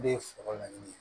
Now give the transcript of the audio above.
Ne ye foro laɲini